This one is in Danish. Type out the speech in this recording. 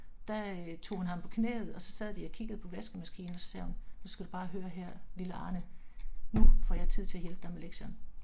Der øh tog hun ham på knæet og så sad de og kiggede på vaskemaskinen og sagde hun nu skal du bare høre her, lille Arne. Nu får jeg tid til at hjælpe dig med lektierne